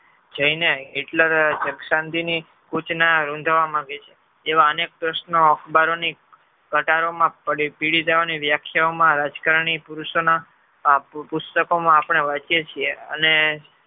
જઈ ને Hitler શાંતિ ના સૂચના ઉજવા માંગે છે એવા અનેક પ્રશ્નો અખબારોની પ્રકારોમાં પડી દેવાની વ્યાખ્યાવો માં રાજકારણી પુરૂષો ના પુસ્તકોમાં આપણે વાંચીયે છીએ.